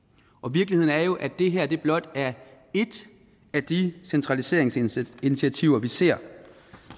virkeligheden er jo at det her blot er et af de centraliseringsinitiativer vi ser